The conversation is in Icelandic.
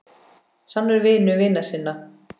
Sannur vinur vina sinna.